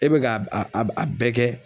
E bɛ ka a a a bɛɛ kɛ